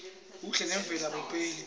buhle memvelo abupheli